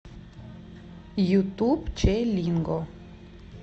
ютуб че линго